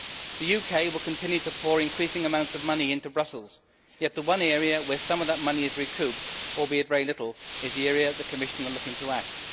The UK will continue to pour increasing amounts of money into Brussels, yet the one area where some of that money is recouped albeit very little is the area the Commission are looking to axe.